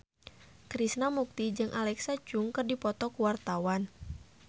Krishna Mukti jeung Alexa Chung keur dipoto ku wartawan